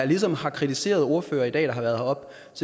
ligesom har kritiseret ordførere der har været heroppe